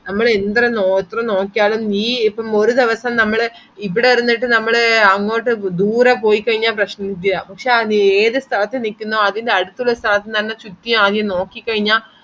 നമ്മളെന്തൊരു എത്ര നോക്കിയാലും നീ ഇപ്പം ഒരു ദിവസം നമ്മൾ ഇവിടെ ഇന്നിട്ട് നമ്മൾ അങ്ങൊട് ദൂരെ പൊയ്കയനാ പ്രശ്നനുല്യ പക്ഷെ ഏത് സ്ഥലത്തു നിക്ന്നോ അതിന്റെ അടുത്തുള്ള സ്ഥലത്തുനന്നേ ചുറ്റി ആകെ നോക്കികയ്‌ന